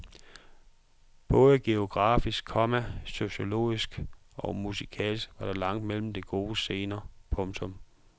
Både geografisk, komma sociologisk og musikalsk var der langt mellem de gode scener. punktum